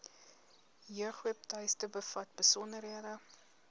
jeugwebtuiste bevat besonderhede